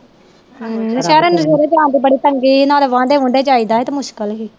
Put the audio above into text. ਬੜੀ ਤੰਗੀ ਸੀ ਨਾਲੇ ਵੰਡੇ ਵੂਡੇ ਹੀ ਤਾ ਮੁਸ਼ਕਲ ਹੀ